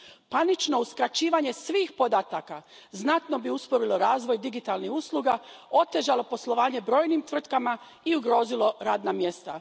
Panično uskraćivanje svih podataka znatno bi usporilo razvoj digitalnih usluga, otežalo poslovanje brojnim tvrtkama i ugrozilo radna mjesta.